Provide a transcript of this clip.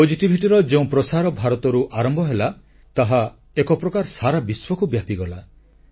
ସକାରାତ୍ମକତାPositivityର ଯେଉଁ ପ୍ରସାର ଭାରତରୁ ଆରମ୍ଭ ହେଲା ତାହା ଏକ ପ୍ରକାର ସାରା ବିଶ୍ୱକୁ ବ୍ୟାପିଗଲା